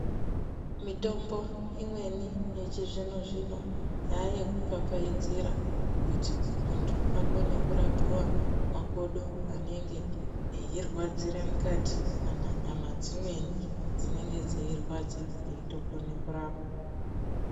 Mitombo imweni yechizvino zvino yayekupfapfaidzira kuti munthu akone kurapiwa makodo anenge eirwadzire mukati kana nyama dzimweni dzinenge dzeirwadza eitokona kurapwa.